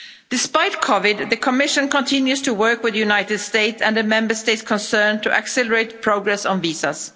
Despite COVID 19, the Commission continues to work with the United States and the Member States concerned to accelerate progress on visas.